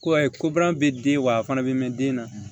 Ko ayi ko baara bɛ den wa a fana bɛ mɛn den na